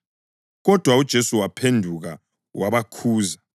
Kodwa uJesu waphenduka wabakhuza